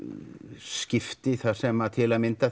skipti þar sem til að mynda